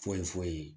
Foyi foyi foyi ye